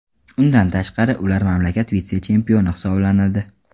Undan tashqari, ular mamlakat vitse-chempioni hisoblanadi.